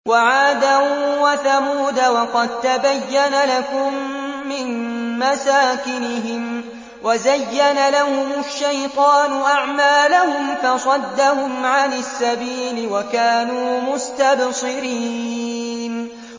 وَعَادًا وَثَمُودَ وَقَد تَّبَيَّنَ لَكُم مِّن مَّسَاكِنِهِمْ ۖ وَزَيَّنَ لَهُمُ الشَّيْطَانُ أَعْمَالَهُمْ فَصَدَّهُمْ عَنِ السَّبِيلِ وَكَانُوا مُسْتَبْصِرِينَ